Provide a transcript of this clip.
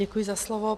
Děkuji za slovo.